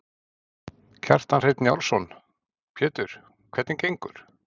Kjartan Hreinn Njálsson: Pétur, hvernig gengur?